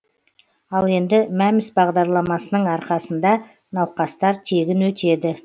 ал енді мәмс бағдарламасының арқасында науқастар тегін өтеді